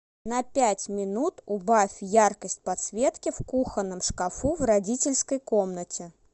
на пять минут убавь яркость подсветки в кухонном шкафу в родительской комнате